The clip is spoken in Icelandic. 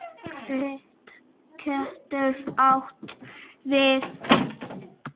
Krít getur átt við